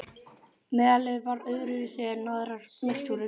Meðalið var öðru vísi en aðrar mixtúrur.